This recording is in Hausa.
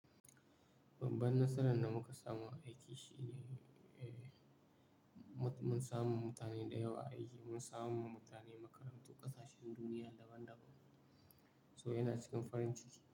Babban nasaran da muka samu a aiki shi ne, mun samu mutane da yawa aiki, mun samu wa mutane makarantu ƙasashen duniya daban-daban. So yana cikin farin ciki.